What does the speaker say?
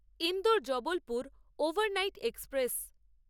Indore Jabalpur overnight express